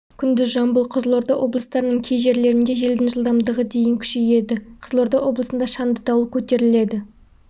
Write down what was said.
күндіз жамбыл қызылорда облыстарының кей жерлерінде желдің жылдамдығы дейін күшейеді қызылорда облысында шаңды дауыл көтеріледі